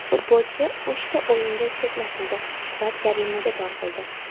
Futbolchi uchta o‘yinga chetlatildi va jarimaga tortildi.